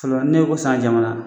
n'e ko san jamana